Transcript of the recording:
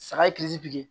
Saga ye bi